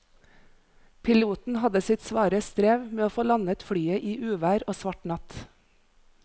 Piloten hadde sitt svare strev med å få landet flyet i uvær og svart natt.